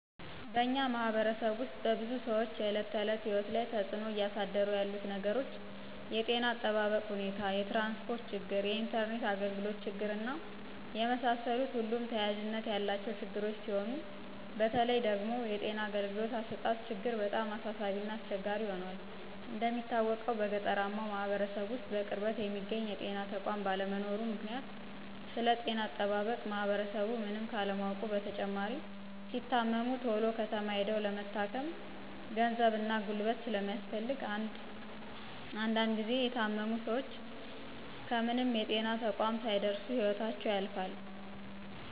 በእኛ ማህበረሰብ ውስጥ በብዙ ሰዎች የእለት ተዕለት ህይወት ላይ ተፅዕኖ እያሳደሩ ያሉት ነገሮች የጤና እጠባበቅ ሁኔታ፣ የትራንስፖርት ችግር፣ የኢንተርኔት አግልግሎት ችግር እና የመሳሰሉት ሁሉም ተያያዥነት ያላቸው ችግሮች ሲሆኑ በተለይ ደግሞ የጤና አገልግሎት አሰጣጥ ችግር በጣም አሳሳቢ እና አስቸጋሪ ሁኗል። እንደሚታወቀው በገጠራማው ማህበረሰብ ውስጥ በቅርበት የሚገኝ የጤና ተቋም ባለመኖሩ ምክንያት ስለጤና አጠባበቅ ማህበረሰቡ ምንም ካለማወቁ በተጨማሪ ሲታመሙ ተሎ ከተማ ሂደው ለመታከም ግዛት እና ጉልበት ስለሚፈልግ እንድ ጊዚ የታመሙ ሰወች ከምንም የጤና ተቋም ሳይደርሱ ህይወታቸው ያልፋል።